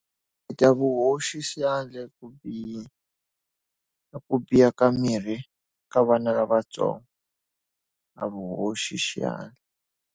hoxi xandla ku biha, ka ku biha ka miri ka vana lavatsongo a vu hoxi xandla.